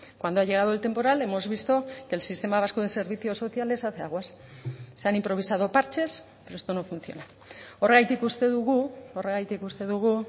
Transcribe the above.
cuando ha llegado el temporal hemos visto que el sistema vasco de servicios sociales hace aguas se han improvisado parches pero esto no funciona horregatik uste dugu horregatik uste dugu